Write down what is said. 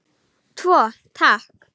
Tvo, takk!